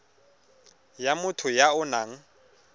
ya motho ya o nang